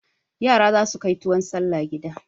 Yara za su kai tuwon salla gida.